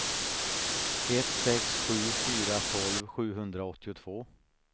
ett sex sju fyra tolv sjuhundraåttiotvå